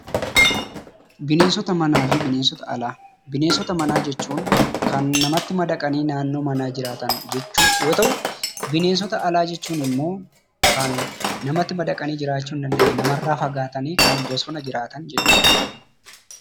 Bineensota manaa fi Bineensota Alaa: Bineensota manaa jechuun kan namatti madaqanii naannoo manaa jiraatan jechuu yoo ta’u, bineensota alaa jechuun immoo lan namatti madaqanii jiraachu hin dandeenye kan namarraa fagaatanii bosona jiraatan jechuudha.